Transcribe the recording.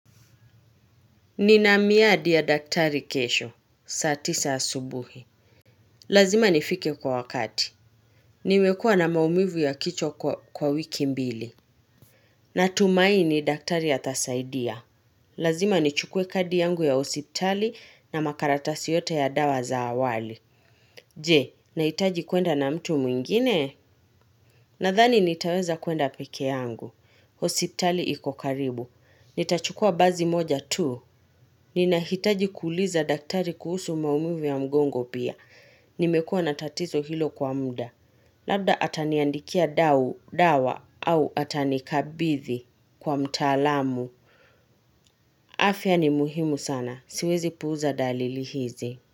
Ni na miadi ya daktari kesho. Saa tisa asubuhi. Lazima nifike kwa wakati. Nimekua na maumivu ya kichwa kwa wiki mbili. Natumai ni daktari atasaidia. Lazima nichukue kadi yangu ya hospitali na makaratasi yote ya dawa za awali. Je, nahitaji kuenda na mtu mwingine? Nadhani nitaweza kuenda peke yangu. Hospitali ikok aribu. Nitachukua basi moja tu. Ni nahitaji kuuliza daktari kuhusu maumivu ya mgongo pia. Nimekuwa na tatizo hilo kwa muda. Labda ataniandikia dao, dawa au atanikabithi kwa mtaalamu. Afya ni muhimu sana. Siwezi puuza dalili hizi.